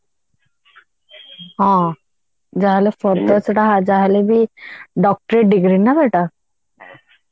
ହଁ ଯାହା ହେଲେ further ସେଇଟା ଯାହା ହେଲେ ବି doctorate degree ନା ସେଇଟା